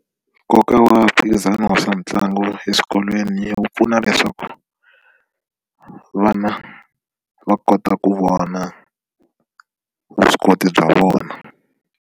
Nkoka wa mphikizano wa swa mitlangu eswikolweni wu pfuna leswaku vana va kota ku vona vuswikoti bya vona.